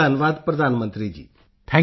ਪੋਨ ਮਰਿਯੱਪਨ ਧੰਨਵਾਦ ਪ੍ਰਧਾਨ ਮੰਤਰੀ ਜੀ